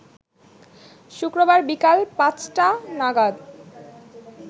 শুক্রবার বিকাল পাঁচটা নাগাদ